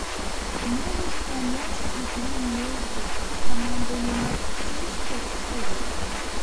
можешь помочь игру между командами манчестер эвертон